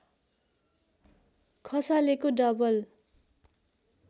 खसालेको double